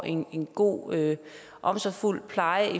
en god og omsorgsfuld pleje